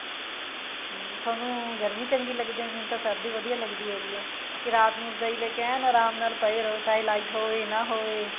ਹਮ ਥੋਨੂੰ ਗਰਮੀ ਚੰਗੀ ਲੱਗਦੀ ਹੈ ਮੈਨੂੰ ਤਾਂ ਸਰਦੀ ਵਧੀਆ ਲੱਗਦੀ ਹੈਗੀ ਹੈ ਕਿ ਰਾਤ ਨੂੰ ਰਜਾਈ ਲੈਕੇ ਏਨ ਆਰਾਮ ਨਾਲ ਪਏ ਰਹੋ ਚਾਹੇ light ਹੋਵੇ ਨਾ ਹੋਵੇ